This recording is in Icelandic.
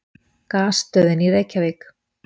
Gasstöðin í Reykjavík.